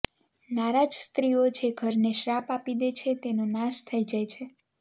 નારાજ સ્ત્રીઓ જે ઘરને શ્રાપ આપી દે છે તેનો નાશ થઈ જાય છે